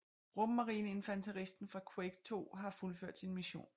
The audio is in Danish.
Rummarineinfanteristen fra Quake II har fuldført sin mission